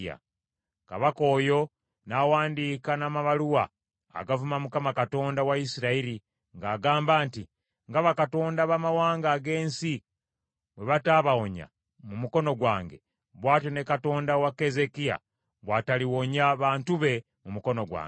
Kabaka oyo n’awandiika n’amabaluwa agavuma Mukama Katonda wa Isirayiri, ng’agamba nti, “Nga bakatonda abamawanga ag’ensi bwe bataabawonya mu mukono gwange, bw’atyo ne Katonda wa Keezeekiya bw’ataliwonya bantu be mu mukono gwange.”